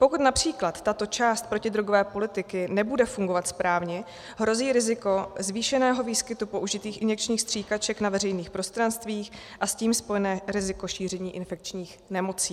Pokud například tato část protidrogové politiky nebude fungovat správně, hrozí riziko zvýšeného výskytu použitých injekčních stříkaček na veřejných prostranstvích a s tím spojené riziko šíření infekčních nemocí.